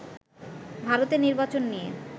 ভারতের নির্বাচন নিয়ে